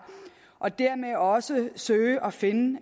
og dermed også søger at finde